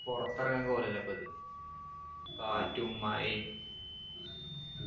പൊറത്തെറങ്ങാൻ കോലല്ലപ്പിത് കാറ്റും മഴയും